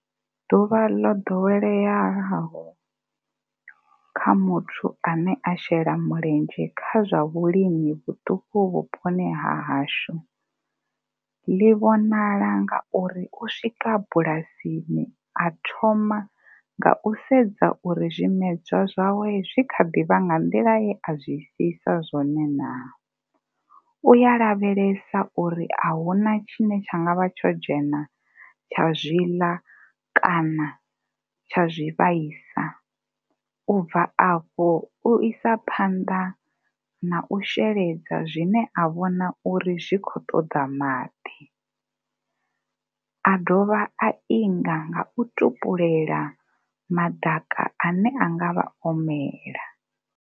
Ḓuvha ḽo ḓoweleaho kha muthu ane a tshela mulenzhe kha zwa vhulimi vhuṱuku vhuponi hahashu ḽi vhonala nga uri u swika bulasini a thoma nga u sedza uri zwimedzwa zwawe zwi kha ḓi vha nga nḓila ye a zwi siisa zwone naa. U ya lavhelesa uri a hu na tshine tsha nga vha tsho dzhena tsha zwi ḽa kana tsha zwi vhaisa, u bva afho u isa phanḓa na u sheledza zwine a vhona uri zwi khou ṱoḓa maḓi. A dovha a inga nga u tupulela maḓaka a ne a nga vha o mela.